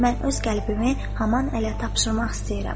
“Mən öz qəlbimi Haman ələ tapşırmaq istəyirəm.”